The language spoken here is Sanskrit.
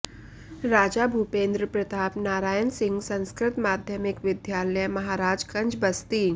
राजा भूपेन्द्र प्रताप नारायण सिंह संस्कृत माध्यमिक विद्यालय महराजगंज बस्ती